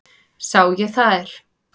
Sá ég þær.